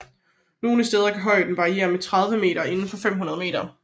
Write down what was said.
Nogle steder kan højden variere med 30 meter inden for 500 meter